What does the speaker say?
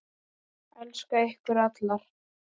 Elska ykkur allar.